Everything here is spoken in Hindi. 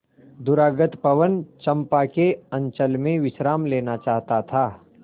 दूरागत पवन चंपा के अंचल में विश्राम लेना चाहता था